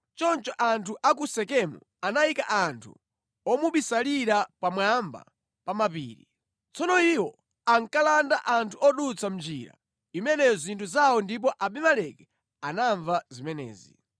Choncho anthu a ku Sekemu anayika anthu omubisalira pamwamba pa mapiri. Tsono iwo ankalanda anthu odutsa mʼnjira imeneyo zinthu zawo ndipo Abimeleki anamva zimenezi.